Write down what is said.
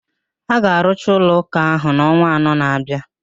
A ga arụcha ụlọ ụka ahụ n'ọnwa anọ na-abịa